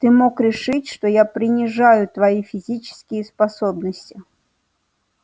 ты мог решить что я принижаю твои физические способности